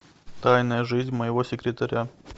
тайная жизнь моего секретаря